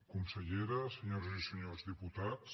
consellera senyores i senyors diputats